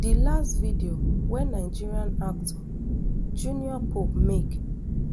di last video wey nigeria actor junior pope make